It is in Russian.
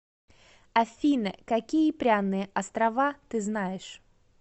афина какие пряные острова ты знаешь